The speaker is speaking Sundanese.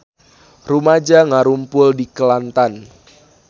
Rumaja ngarumpul di Kelantan